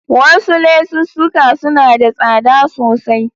Wasu lesussuka suna da tsada sosai.